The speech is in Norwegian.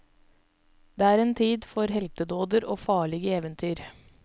Det er en tid for heltedåder og farlige eventyr.